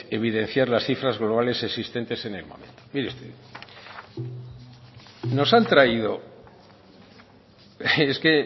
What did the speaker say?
evidenciar las cifras globales existentes en el momento mire usted nos han traído es que